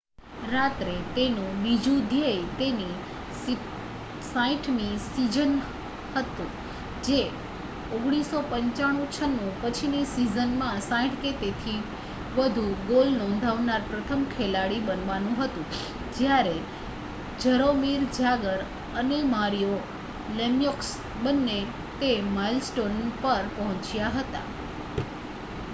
રાત્રે તેનું બીજું ધ્યેય તેની 60મીસીઝન હતું જે 1995-96 પછીનીસીઝનમાં 60 કે તેથી વધુ ગોલનોંધાવનાર પ્રથમ ખેલાડી બનવાનુંહતું જ્યારે જરોમીર જાગર અનેમારિયો લેમ્યોક્સ બંને તે માઇલસ્ટોનપર પહોંચ્યા હતા